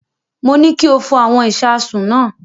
Mo ní kí o fọ àwọn ìṣasùn náà.